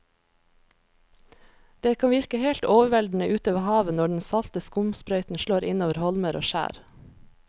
Det kan virke helt overveldende ute ved havet når den salte skumsprøyten slår innover holmer og skjær.